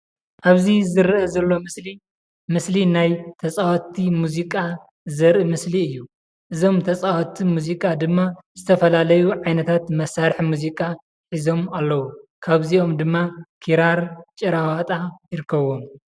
ኣብዚ ዝርአ ዘሎ ምስሊ ናይ ተፃወቲ ሙዚቃ ዘርኢ ምስሊ እዩ ። እዞም ተፃወቲ ሙዚቃ ድማ ዝተፈላለዩ ዓይነታት መሰርሒ ሙዚቃ ሒዞም ኣለዉ። ካብዚኦም ድማ ክራር ጭራዋጣ ይርከቡዎም።